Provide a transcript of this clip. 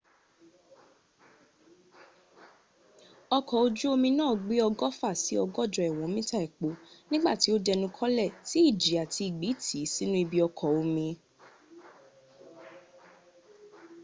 ọkọ̀ ojú omi náà gbé ọgọ́fà sí ọgọ́jọ ìwọ̀n mita epo nígbà tí ó dẹnu kọlẹ̀ tí ìjì àti ìgbì tì í sínú ibi ọkọ̀ omi